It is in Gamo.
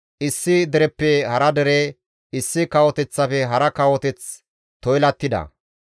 issi dereppe hara dere, issi kawoteththafe hara kawoteth toylattida.